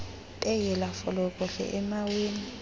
beyela folokohlo emaweni